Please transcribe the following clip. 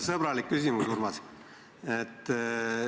Sõbralik küsimus, Urmas.